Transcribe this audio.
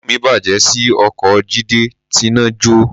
Inú mi bàjẹ́ sí oko Jídé tíná jọ́